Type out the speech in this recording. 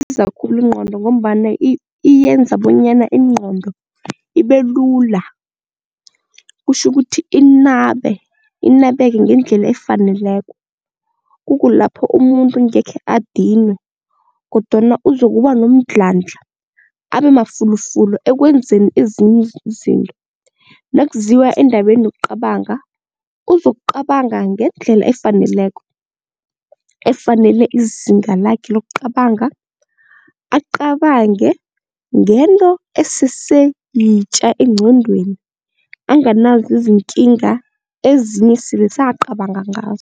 Kusiza khulu ingqondo ngombana iyenza bonyana ingqondo ibe lula, kutjhukuthi inabe, inabeke ngendlela efaneleko kukulapho umuntu ngekhe adinwe kodwana uzokuba nomdlandla abemafulufulu ekwenzeni ezinye izinto. Nakuziwa endabeni yokucabanga, uzokucabanga ngendlela efaneleko, efanele izinga lakhe lokucabanga, acabange ngento esese yitja engqondweni anganazo izinkinga ezinye esele sekacabanga ngazo.